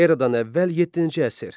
Eradan əvvəl yeddinci əsr.